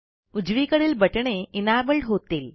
उजवीकडील बटणे इनेबल्ड होतील